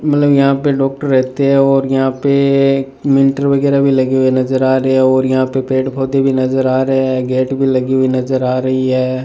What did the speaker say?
मतलब यहां पे डॉक्टर रहते हैं और यहां पे मीटर वगैरा भी लगे हुए नजर आ रहे हैं और यहां पे पेड़ पौधे भी नजर आ रहे हैं गेट भी लगी हुई नजर आ रही है।